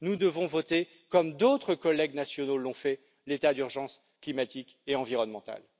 Nous devons voter comme d'autres collègues nationaux l'ont fait l'état d'urgence climatique et environnementale.